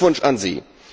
Glückwunsch an Sie!